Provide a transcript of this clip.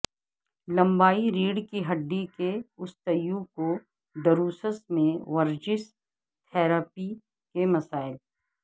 لمبائی ریڑھ کی ہڈی کے اوستیوکوڈروسس میں ورزش تھراپی کے مسائل